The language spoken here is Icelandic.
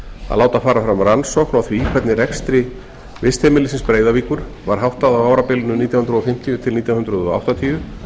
að láta fara fram rannsókn á því hvernig rekstri vistheimilisins breiðavíkur var háttað á árabilinu nítján hundruð fimmtíu til nítján hundruð áttatíu